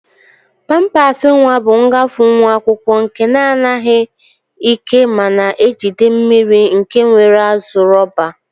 Pampas nwa bu nghafunwu akwụkwọ nke na aghi ike mana ejide mmiri nke nwere azu rọba.